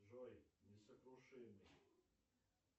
джой несокрушимый